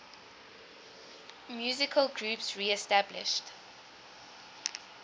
musical groups reestablished